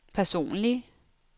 personlig